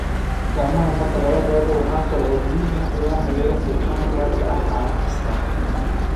Gacmaha marka laga reebo waxa kale oo muhiim ah in la maydho xubnaha gaarka ah maalin kasta.